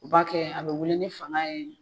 U b'a kɛ a bɛ wuli ni fanga ye.